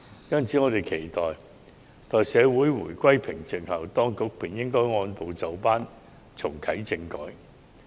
因此，我們期待在社會回歸平靜後，當局便應按部就班重啟政改。